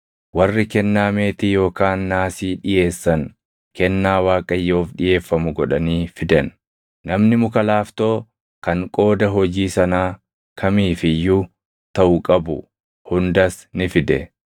Warri kennaa meetii yookaan naasii dhiʼeessan kennaa Waaqayyoof dhiʼeeffamu godhanii fidan. Namni muka laaftoo kan qooda hojii sanaa kamiif iyyuu taʼu qabu hundas ni fide.